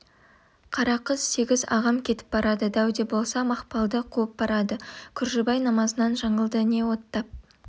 қарақыз сегіз ағам кетіп барады дәуде болса мақпалды қуып барады күржібай намазынан жаңылды не оттап